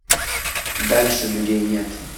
дальше людей нет